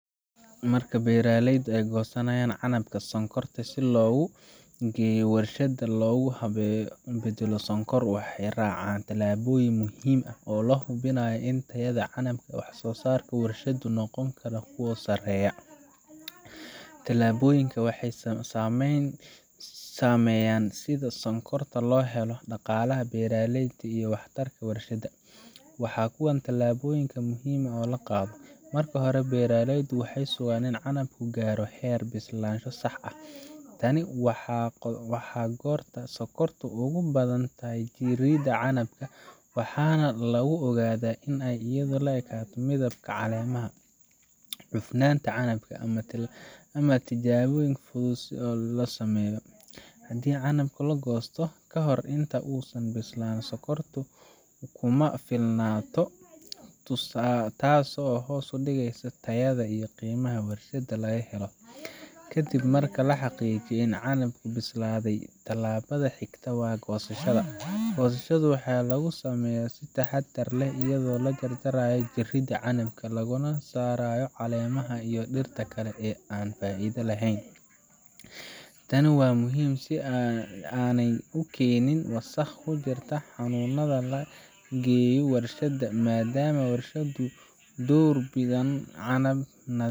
Marka beeraleyda ay goosanayaan canabka sonkorta si loogu geeyo warshadda loogu beddelayo sonkor, waxay raacaan tallaabooyin muhiim ah oo hubiya in tayada canabka iyo wax-soosaarka warshaduhu noqdaan kuwo sarreeya. Tallaabooyinkan waxay saameeyaan sida sonkorta loo helo, dhaqaalaha beeraleyda, iyo waxtarka warshadaha. Waa kuwan tallaabooyinka muhiimka ah ee la qaado: Marka hore, beeraleydu waxay sugaan in canabku gaaro heer bislaansho sax ah. Tani waa goorta sokortu ugu badan tahay jirridda canabka, waxaana lagu ogaadaa iyadoo la eegayo midabka caleemaha, cufnaanta canabka, ama tijaabooyin fudud oo la sameeyo. Haddii canabka la goosto ka hor inta uusan bislaan, sokortu kuma filnaato, taasoo hoos u dhigeysa tayada iyo qiimaha warshadda laga helo. Kadib marka la xaqiijiyo in canabku bislaaday, tallaabada xigta waa goosashada. Goosashada waxaa lagu sameeyaa si taxadar leh iyadoo la jar jarayo jirridaha canabka, lagana saarayo caleemaha iyo dhirta kale ee aan faa’iidada lahayn. Tani waa muhiim si aanay u keenin wasakh ku jirta xamuulka la geeyo warshadda, maadaama warshaduhu door bidaan canab